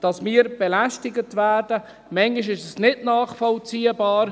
Manchmal ist es nicht nachvollziehbar.